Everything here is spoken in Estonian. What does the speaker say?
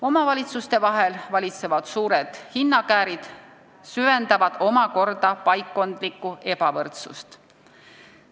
Omavalitsuste vahel valitsevad suured hinnakäärid süvendavad omakorda paikkondlikku ebavõrdsust.